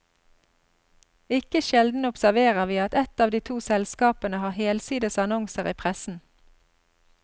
Ikke sjelden observerer vi at ett av de to selskapene har helsides annonser i pressen.